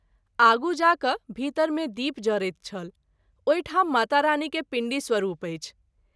आगू जा क’ भीतर मे दीप जरैत छल ओहि ठाम माता रानी के पींडी स्वरूप अछि।